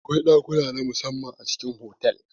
Akwai ɗakuna namu samman a cikin otal.